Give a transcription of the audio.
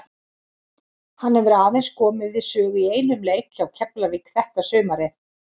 Hann hefur aðeins komið við sögu í einum leik hjá Keflavík þetta sumarið.